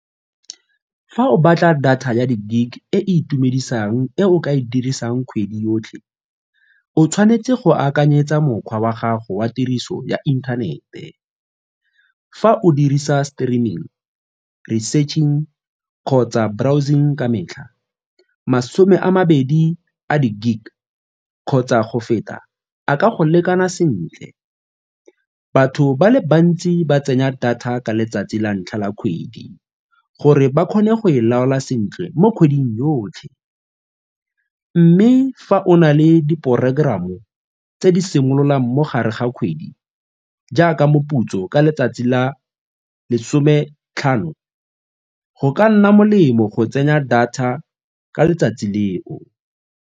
Fa o batla data ya di-gig e e itumedisang e o ka e dirisang kgwedi yotlhe, o tshwanetse go akanyetsa mokgwa wa gago wa tiriso ya inthanete. Fa o dirisa streaming, researching kgotsa browsing ka metlha, masome a mabedi a di-gig kgotsa go feta a ka go lekana sentle. Batho ba le bantsi ba tsenya data ka letsatsi la ntlha la kgwedi gore ba kgone go e laolwa sentle mo kgweding yotlhe mme fa o na le di-programm tse di simololang mo gare ga kgwedi jaaka moputso ka letsatsi la lesome tlhano go ka nna molemo go tsenya data ka letsatsi leo.